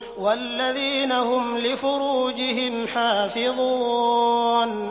وَالَّذِينَ هُمْ لِفُرُوجِهِمْ حَافِظُونَ